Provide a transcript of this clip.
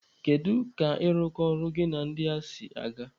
Kedu ka ịrụkọ ọrụ gị na ndị a si gaa?